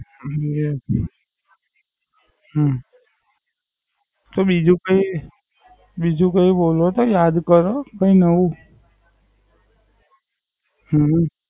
હમ હમ તો બીજું કઈ બોલો કે યાદ કરો કઈ એવું.